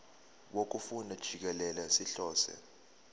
wokufunda jikelele sihlose